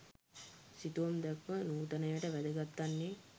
සිතුවම් දැක්ම නූතනයට වැදගත් වන්නේ